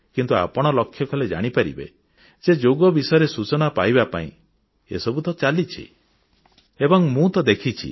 କିନ୍ତୁ ଆପଣ ଲକ୍ଷ୍ୟ କଲେ ଜାଣିପାରିବେ ଯେ ଯୋଗ ବିଷୟରେ ସୂଚନା ପାଇବା ପାଇଁ ଏସବୁ ତ ଚାଲିଛି ଏବଂ ମୁଁ ତ ଦେଖିଛି